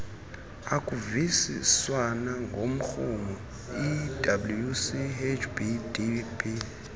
akuvisiswana ngomrhumo iwchdb